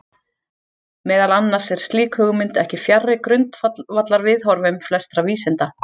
Meðal annars er slík hugmynd ekki fjarri grundvallarviðhorfum flestra vísinda.